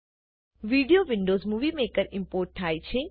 video Windows movie maker import થાય છે